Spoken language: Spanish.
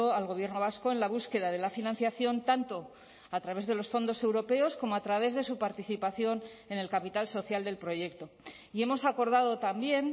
al gobierno vasco en la búsqueda de la financiación tanto a través de los fondos europeos como a través de su participación en el capital social del proyecto y hemos acordado también